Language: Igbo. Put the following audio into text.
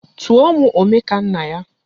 Tụọ mụ Omekannaya!